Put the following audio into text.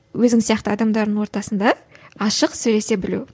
өзің сияқты адамдардың ортасында ашық сөйлесе білу